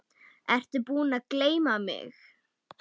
Ertu búinn að gleyma mig?